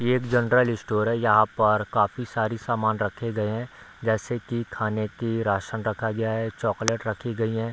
ये एक general store है यहाँ पर काफी सारी सामान रखे गए है जैसे की खाने की राशन रखा गया है चॉकलेट रखी गई है।